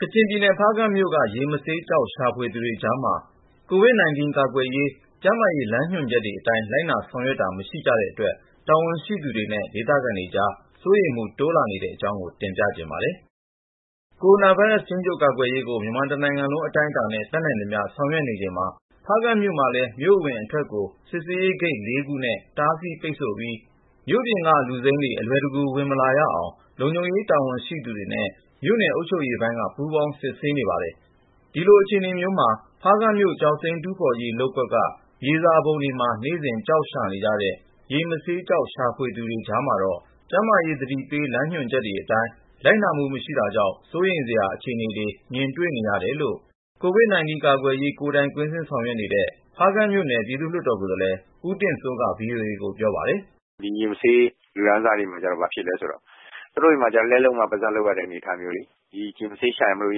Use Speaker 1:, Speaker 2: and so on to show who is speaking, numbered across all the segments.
Speaker 1: ကချင်ပြည်နယ် ဖားကန့်မြို့က ရေမဆေးကျောက် ရှာဖွေသူတွေကြားမှာ COVID-19 ကာကွယ်ရေး ကျန်းမာရေး လမ်းညွှန်ချက်တွေအတိုင်း လိုက်နာ ဆောင်ရွက်တာ မရှိကြတဲ့အတွက် တာဝန်ရှိသူတွေနဲ့ ဒေသခံတွေအကြား စိုးရိမ်မှုတိုးလာနေတဲ့ အကြောင်း ကိုဉာဏ်ဝင်းအောင်က ဆက်သွယ်မေးမြန်း တင်ပြထားပါတယ်။ ကိုရိုနာဗိုင်းရပ်စ် ထိန်းချုပ်ကာကွယ်ရေးကို မြန်မာတနိုင်ငံလုံး အတိုင်းအတာနဲ့ တတ်နိုင်သမျှ ဆောင်ရွက်နေချိန်မှာ ဖားကန့်မြို့မှာလည်း မြို့အဝင်အထွက်ကို စစ်ဆေးရေးဂိတ် ခုနဲ့ တားဆီးပိတ်ဆို့ပြီး မြို့ပြင်က လူစိမ်းတွေ အလွယ်တကူ ဝင်မလာရအောင် လုံခြုံရေးတာဝန်ရှိသူတွေနဲ့ မြို့နယ် အုပ်ချုပ်ရေးပိုင်းက ပူးပေါင်း စစ်ဆေးနေပါတယ်။ ဒီလိုအခြေအနေမျိုးမှာ ဖားကန့်မြို့ ကျောက်စိမ်းတူးဖေါ်ရေး လုပ်ကွက်က မြေစာပုံတွေမှာ နေ့စဉ် ကျောက်ရှာနေကြတဲ့ ရေမဆေးကျောက် ရှာသူတွေကြားမှာတော့ ကျန်းမာရေးသတိပေး လမ်းညွှန်ချက်အတိုင်း လိုက်တာမှု မရှိတာကြောင့် စိုးရိမ်စရာ အခြေအနေတွေ မြင်တွေ့နေရတယ်လို့ COVID-19 ကာကွယ်ရေး ကိုယ်တိုင် က ွင်းဆင်း ဆောင်ရွက်နေတဲ့ ဖားကန့်
Speaker 2: မြို့နယ် ပြည်သူ့လွှတ်တော် ကိုယ်စားလှယ် ဦးတင့်စိုးက VOA ကို ပြောပါတယ်။ " ဒီ ရေမဆေး လူတန်းစားတွေမှာ ဘာဖြစ်သလဲဆိုတော့ သူတို့ဆီမှာ လက်လှုပ်မှ ပါးစပ်လှုပ်ရတဲ့ အနေထားမျိုးလေ။ ကျောက် ရှာလို့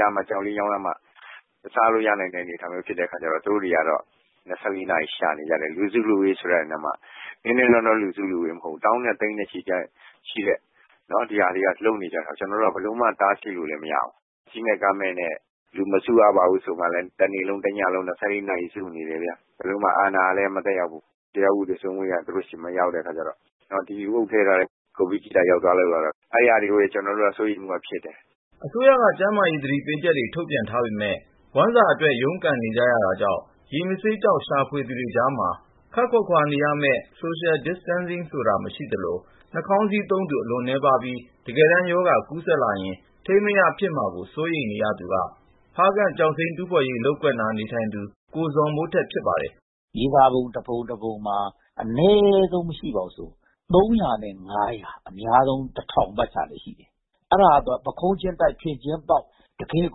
Speaker 2: ရမှ စားလို့ရနိုင်တဲ့ အနေအထားဖြစ်တော့ သူတို့တွေက ၂၄ နာရီလုံး ရှာဖွေနေကြတယ်။ လူစုလူဝေးဆိုတဲ့နေရာမှာ နည်းနည်းနောနော လူစုလူဝေး မဟုတ်ဘူး၊ သောင်းနဲ့ သိန်းနဲ့ချီ ရှိတာ။ ကျနော်တို့က ဘယ်လိုမှကို တားဆီးလို့ မရဘူး။ စည်းမဲ့ ကမ်းမဲ့နဲ့ လူမစုရပါဘူးဆိုရင်လည်း တနေ့လုံးတညလုံး လူစုနေကြတယ်။ အာဏာကလည်း မသက်ရောက်ဘူး ၊ တရား ဥပဒေစိုးမိုးရေးက သူတို့ဆီ မရောက်တဲ့အခါကျတော့ ဒီလူအုပ်ထဲသာ ကိုဗစ်ကြီးသာ ရောက်သွားလို့ကတော့ အဲဒါမျိုးကို ကျနော်တို့က စိုးရိမ်မှု ဖြစ်တယ်
Speaker 1: ။ " အစိုးရက ကျန်းမာရေး သတိပေးချက်တွေ ထုတ်ထားပေမဲ့ ဝမ်းစာအတွက် ရုန်းကန်နေကြရတာကြောင့် ရေမဆေးကျောက် ရှာဖေ ွသူတွေကြားမှာ ခပ်ခွာခွာ နေရမယ့် Social Distancing ဆိုတာ မရှိသလို ၊ နှာခေါင်းစည်းသုံးသူ အလွန်းနည်းပါးပြီး တကယ်တမ်း ရောဂါကူးစက်လာရင် ထိန်းမရ ဖြစ်မှာကို စိုးရိမ်နေသူက ဖားကန့် ကျောက်စိမ်းတူးဖေါ်ရေး လုပ်ကွက်နား နေထိုင်တဲ့ ကိုဇော်မိုးထက် ဖြစ်ပါတယ်
Speaker 3: ။ " မြေစာပုံ တပုံတပုံမှာ အနည်းဆုံး မရှိဘူးဆိုရင် လူ ကနေ အများဆုံး ပတ်ချာလည် ရှိပါတယ်။ အဲဒါက ပုခုံးချင်းတိုက် ဖင်ချင်းပေါက် တကယ့်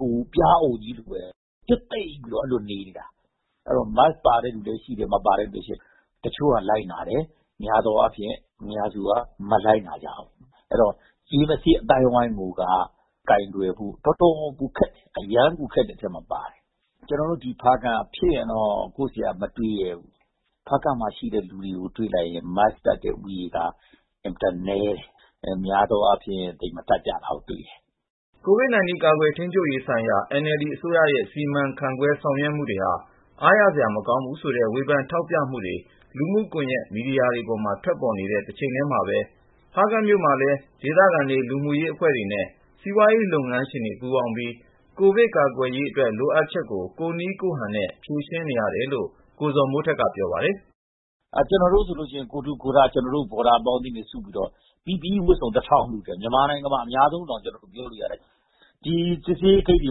Speaker 3: ကို ပျားအုံကြီးလိုပဲ ပြွတ်သိပ်ပြီး နေနေကြတာ။ Mask ပါတဲ့လူလည်း ရှိတယ် မပါတဲ့လူလည်းရှိတယ်။ တချို့က လိုက်နာတယ် ၊ အများသောအားဖြင့် လူများစုက မလိုက်နာကြဘူး။ အဲဒီတော့ ရေမဆေး အသိုင်းအဝိုင်းကိုက ကိုင်တွယ်ဖို့ တော်တော်ကိုခက်တယ်။ အရမ်းကို ခက်တဲ့ အထဲမှာပါတယ်။ ကျနော်တို့ ဖားကန့်က ဖြစ်ရင်တော့ မတွေးရဲဘူး။ ဖားကန့်မှာရှိတဲ့ လူတွေကို ကြည့်လိုက်ရင် Mask တပ်တဲ့လူဦးရေက အင်မတန်ကို နည်းတယ်။ များသောအားဖြင့် သိပ်မတပ်ကြတာကိုတွေ့ရတယ်။
Speaker 1: " COVID-19 ကာကွယ် ထိန်းချုပ်ရေးဆိုင်ရာ NLD အစိုးရရဲ့ စီမံခန့်ခွဲ ဆောင်ရွက်မှုတွေဟာ အားရစရာ မကောင်းဘူးဆိုတဲ့ ဝေဖန်ထောက်ပြမှုတေ ွ လူမှုကွန်ယက် မီဒီယာပေါ်မှာ ထွက်ပေါ်နေတဲ့ တချိန်ထဲမှာဘဲ ဖားကန့်မြို့မှာလည်း ဒေသခံတွေကြား ပူးပေါင်းပြီး ကိုဗစ် ကာကွယ်ရေးအတွက် လိုအပ်ချက်ကို ကိုယ့်နည်းကိုယ့်ဟန်နဲ့ ဖြေရှင်းနေရတယ်လို့ ကိုဇော်မိုးထက်က ပြောပါတယ်။ "ကျနော်တို့ ဆိုလို့ရှိရင် ကိုယ်ထူကိုယ်ထ ကျနော်တို့ ဘော်ဒါ အပေါင်းအသင်းတွေ စုပြီးတော့
Speaker 3: PPE ဝတ်စုံ လှူတယ် မြန်မာနိုင်ငံမှာ အများဆုံးလှူတယ်လို့တောင် ပြောလို့ရတယ်။ ဒီ စစ်ဆေးရေး ဂိတ်တွေ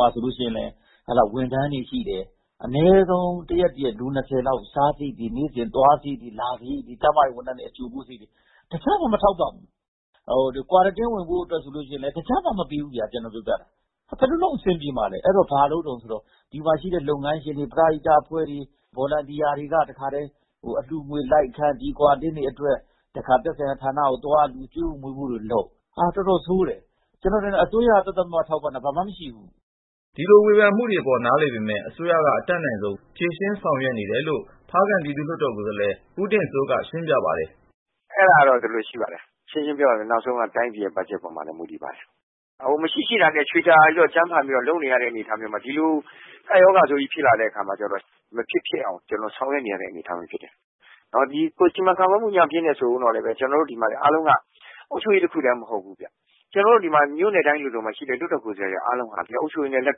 Speaker 3: မှာ ဆိုလို့ရှိရင်လည်း ဝန်ထမ်းတွေရှိတယ် လူ လောက် တရက်တရက် အနည်းဆုံး စားစရိတ်တေ ွ နေ့စဉ် သွားစရိတ် လာစရိတ်တွေ ၊ ကျန်းမာရေး ဝန်ထမ်းတွေကို အကြိုအပို့တွေရှိတယ်.. တစက်မှ မထောက်ပံ့ဘူး။ ဟို Quarantine ဝင်ဖို့ ဆိုရင်လည်း ထောက်ပံ့မှု မပေးဘူးဗျာ ဘယ်လိုလုပ်အဆင်ပြေမှာလည်း၊ အဲဒီတော့ ဘာလုပ်ကြသလဲ ဆိုတော့ ဒီမှာရှိတဲ့ လုပ်ငန်းရှင်တွေ ပရဟိတ အဖွဲ့တွေ စေတနာ့ဝန်ထမ်းတွေက ဒီ ကွာရမ်တင်းတွေ အတွက် အလှူငွေလိုက်ခံ.. တခါ သက်ဆိုင်ရာဌာနကိုသ ွား ကျွေး
Speaker 1: ဖို့ မွေးဖို့တွေလုပ် ၊ တော်တော်ဆိုးတယ်။ ကျနော်ထင်တယ် အစိုးရက သပ်သပ်မှတ်မှတ် ထောက်ပံ့တာ ဘာမှ မရှိဘူး။ " ဒီလိုဝေဖန်မှုပေါ် နားလည်ပေမယ့် အစိုးရက အတတ်နိုင်ဆုံး ဖြေရှင်းဆောင်ရွက်နေတယ်လို့ ဖားကန့
Speaker 2: ် ပြည်သူ့လွှတ်တော် ကိုယ်စားလှယ် ဦးတင့်စိုးက ခုလို ရှင်းပြပါတယ်။ " အဲဒါက ဒီလို ရှိပါတယ်။ ရှင်းရှင်းပြောရရင် နောက်ဆုံးတော့ တိုင်းပြည်ရဲ့ ဘတ်ဂျက်ပေါ်မှာလည်း မူတည်ပါတယ်။ မရှိ ရှိတာနဲ့ ချွေတာပြီး ကြံဖန်ပြီး လုပ်နေရတဲ့ အနေထားမျိုးမှာ ဒီလို ကပ်ရောဂါဆိုးကြီး ဖြစ်လာတဲ့အခါကျတော့ ကျနော်တို့ မဖြစ်ဖြစ်အောင် ဆောင်ရွက်နေရတဲ့ အနေအထားမျိုးဖြစ်တယ်။ စီမံခန့်ခွဲမှု ညံ့ဖျင်းတယ် ဆိုဦးတော့လည်း ကျနော်တို့ဒီမှာလည်း အားလုံးက အုပ်ချုပ်ရေးတခုထဲ မဟုတ်ဘူးဗျ။ ကျနော်တို့ ဒီမှာ မြို့နယ်တိုင်း လိုလိုမှရှိတဲ့ လွှတ်တော်ကိုယ်စားလှယ်တွေ အားလုံးဟာ ဒီကအုပ်ချုပ်ရေးနဲ့ အ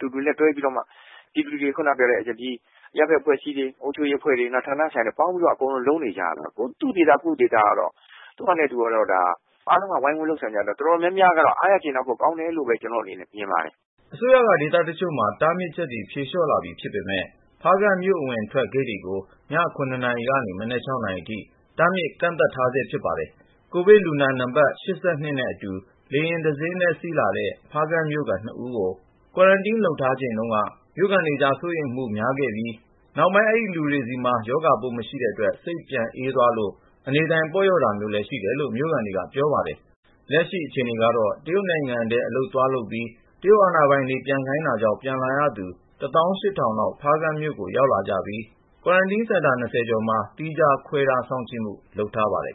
Speaker 2: တူတူ လက်တွဲပြီးတော့မှ အရပ်ဖက်အဖွဲ့အစည်းတွေ ဌာနဆိုင်ရာတွေနဲ့ ပေါင်းပြီးတော့ အကုန်လုပ်နေကြရတာကိုး။ သူ့ဒေသကိုယ့်ဒေသ သူ့ဟာနဲ့သူ အားလုံးဝိုင်းလုပ်တဲ့အခါကျတော့ အတော်များများက အားရကျေနပ်ဖို့ ကောင်းတယ်လို့ပဲ ကျနော့်အနေနဲ့ မြင်ပါတယ်။
Speaker 1: " အစိုးရက ဒေသတချို့မှာ တားမြစ်ချက်တွေ ဖြေ လျှော့လာပြီဖြစ်ပေမဲ့ ဖားကန့်မြို့ အဝင်အထွက်ဂိတ်တွေကိုတော့ ည နာရီကနေ မနက် နာရီ တားမြစ် ကန့်သတ်ထားဆဲ ဖြစ်ပါတယ်။ COVID-19 လူနာနံပတ် နဲ့အတူ လေယာဉ်တစင်းထဲ စီးလာတဲ့ ဖားကန့်မြို့ခံ နှစ်ဦးကို Quarantine ထားချိန်တုန်းက မြို့ခံတွေကြား စိုးရိမ်မှု များခဲ့ကြပြီး ၊ နောက်ပိုင်း အဲဒီလူတွေဆီမှာ ရောဂါပိုး မရှိတဲ့အတွက် စိတ်ပြန်အေးသွားလို့ အနေအထိုင် ပေါ့လျော့တာမျိုးလည်း ရှိတယ်လို့ မြို့ခံတွေက ပြောပါတယ်။ လက်ရှိအခြေအနေကတော့ တရုတ်နိုင်ငံထဲ အလုပ်သွားလုပ်ပြီး တရုတ် အာဏာပိုင်တွေ ပြန်ခိုင်းတာကြောင့် ပြန်လာရသူတွေထဲက လောက် ဖားကန့်ကို ရောက်လာကြပြီး Quarantine စင်တာ ကျော်မှာ သီးခြား ခ ွဲထား စောင့်ကြည့်မှု လုပ်ထားပါတယ်